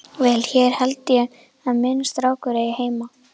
Vel, hér held ég að minn strákur eigi heima.